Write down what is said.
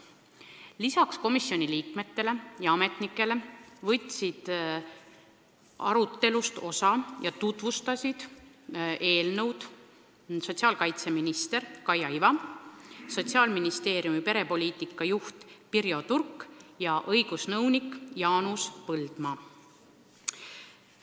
Lisaks komisjoni liikmetele ja ametnikele võtsid arutelust osa eelnõu tutvustanud sotsiaalkaitseminister Kaia Iva ning Sotsiaalministeeriumi perepoliitika juht Pirjo Turk ja ministeeriumi õigusnõunik Jaanus Põldmaa.